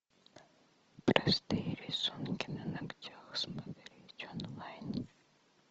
простые рисунки на ногтях смотреть онлайн